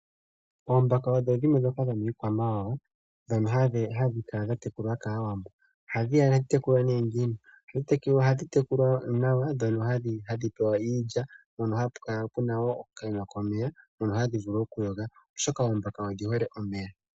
Oombaka odho dhimwe ndhoka dhomikwamawawa dhono hadhi tekulwa kAawambo. Ohadhi tekulwa moku pewa iilya nohapu kala puna okaima komeya moka ha dhi vulu okuyo ga oshoka oombaka odhi hole omeya.